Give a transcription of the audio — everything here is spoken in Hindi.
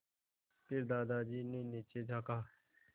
फिर दादाजी ने नीचे झाँका